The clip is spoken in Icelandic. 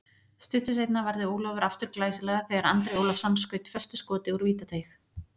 Stuttu seinna varði Ólafur aftur glæsilega þegar Andri Ólafsson skaut föstu skoti úr vítateig.